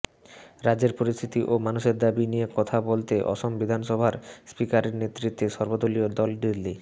রাজ্যের পরিস্থিতি ও মানুষের দাবি নিয়ে কথা বলতে অসম বিধানসভার স্পিকারের নেতৃত্বে সর্বদলীয় দল দিল্লি